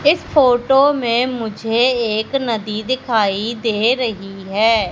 इस फोटो में मुझे एक नदी दिखाई दे रही है।